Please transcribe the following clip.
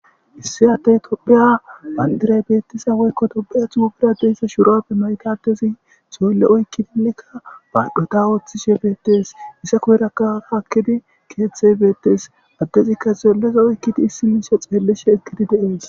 Issi addey Tophiya bandira mayo woyko Tophiya giza xuufera diza mayo mayidi,xoylle be kushen oykidi baadho giddon eqqi baadho oothees. Sekkiraka keethi beetees. Addezika xoylleza oykidi isiniso xeellishe de'ees.